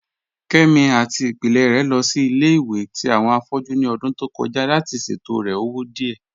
Kẹmi àti ìpílẹ̀ rẹ̀ lọ sí ilẹ̀-ìwẹ̀ tì awọn afọ̀jú ní ọ̀dún tó kọja láti ṣètọ̀rẹ̀ ọwọ̀ díẹ.